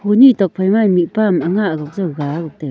ni tuakphai ma mihpa am anga ga taiga.